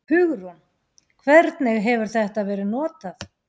Hugrún: Hvernig hefur þetta verið notað?